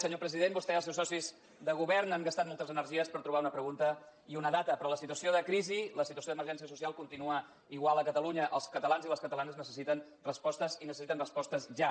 senyor president vostè i els seus socis de govern han gastat moltes energies per trobar una pregunta i una data però la situació de crisi la situació d’emergència social continua igual a catalunya els catalans i les catalanes necessiten respostes i necessiten respostes ja